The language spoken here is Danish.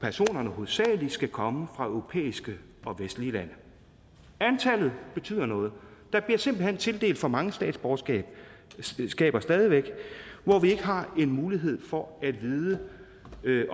personerne hovedsagelig skal komme fra europæiske og vestlige lande antallet betyder noget der bliver simpelt hen tildelt for mange statsborgerskaber stadig væk hvor vi ikke har en mulighed for at vide